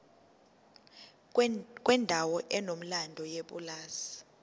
kwendawo enomlando yepulazi